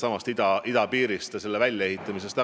Jutt oli idapiirist ja selle väljaehitamisest.